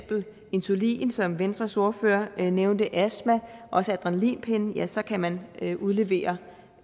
insulin som venstres ordfører nævnte eller astma også adrenalinpenne så kan man udlevere